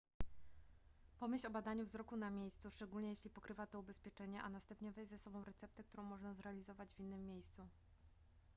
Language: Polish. pomyśl o badaniu wzroku na miejscu szczególnie jeśli pokrywa to ubezpieczenie a następnie weź ze sobą receptę którą można zrealizować w innym miejscu